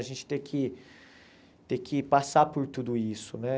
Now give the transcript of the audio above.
A gente ter que ter que passar por tudo isso, né?